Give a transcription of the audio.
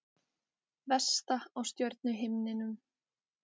Vesta á stjörnuhimninum